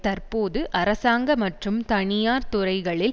தற்போது அரசாங்க மற்றும் தனியார் துறைகளில்